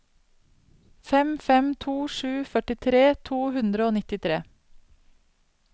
fem fem to sju førtitre to hundre og nittitre